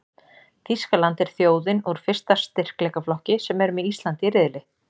Þýskaland er þjóðin úr fyrsta styrkleikaflokki sem er með Íslandi í riðli.